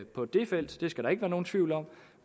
på det felt det skal der ikke være nogen tvivl om